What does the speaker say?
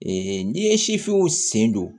n'i ye sifinw sen don